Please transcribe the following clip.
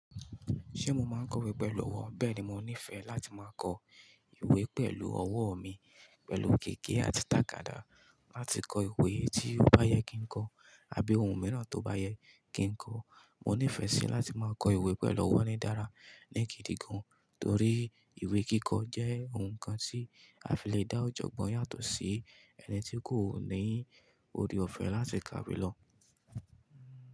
Ṣé mo máa kọ ìwé pẹ̀lú ọwọ́? Bẹ́ẹ̀ni, mo nífẹ̀ẹ́ láti máa kọ ìwé pẹ̀lú ọwọ́ mi pẹ̀lú gègé àti tàkàdá láti kọ ìwé tí ó bá yẹ kí n kọ àbí ohun mìíràn tó bá yẹ kí n kọ. Mo nífẹ̀ẹ́ sí láti máa kọ ìwé pẹ̀lú ọwọ́ ní dára ní gidi gàn torí ìwé kíkọ jẹ́ ohun kan tí a fi le dá ọ̀jọ̀gbọ́n yàtọ̀ sí ẹni tí kò ní òre ọ̀fẹ́ láti kà iwé lọ.